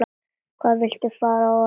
Hvað viltu fá að vita?